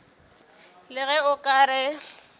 le ge o ka re